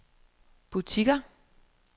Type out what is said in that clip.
butikker